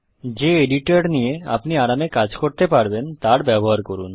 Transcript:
যে এডিটর নিয়ে আপনি আরামে কাজ করতে পারবেন তার ব্যবহার করুন